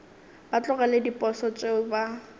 ba tlogele diposo tšeo ba